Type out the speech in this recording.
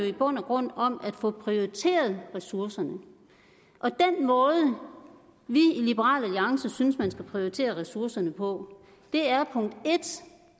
i bund og grund om at få prioriteret ressourcerne den måde vi i liberal alliance synes man skal prioritere ressourcerne på er